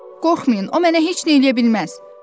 Qorxmayın, o mənə heç nə eləyə bilməz.